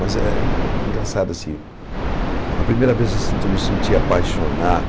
Mas é engraçado, assim, a primeira vez assim que eu me senti apaixonado,